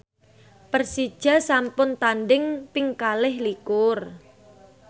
Persija sampun tandhing ping kalih likur